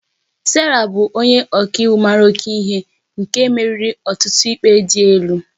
Sarah bụ onye ọka iwu mara oke mma nke meriri ọtụtụ ikpe dị elu